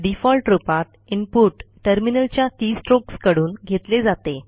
default रूपात input terminal च्या keystrokes कडून घेतले जाते